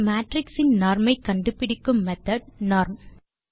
ஒரு மேட்ரிக்ஸ் இன் நார்ம் ஐ கண்டுபிடிக்கும் மெத்தோட் norm